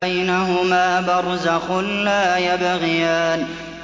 بَيْنَهُمَا بَرْزَخٌ لَّا يَبْغِيَانِ